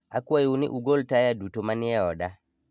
Akwayou ni ugol taya duto manie oda.